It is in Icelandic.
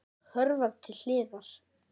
Hún hörfar til hliðar.